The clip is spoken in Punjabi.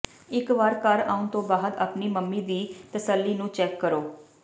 ਇਕ ਵਾਰ ਘਰ ਆਉਂਣ ਤੋਂ ਬਾਅਦ ਆਪਣੀ ਮੰਮੀ ਦੀ ਤਸੱਲੀ ਨੂੰ ਚੈੱਕ ਕਰੋ